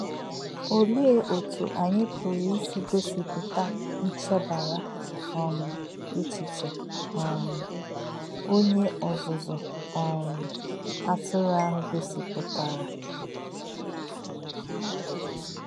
Ọ̀lē̄ ọ̀tú̄ ànyí̄ pụ̀rụ́ ísī̄ gọ̀sìpụ̀tà̄ nchè̄bà̄rà̄ um èchè̄chí̄ um ọ̀nyé̄ ọ́zụ́zụ́ um àtụ̄rụ̄ āhū̄ gọ̀sìpụ̀tà̄rè̄?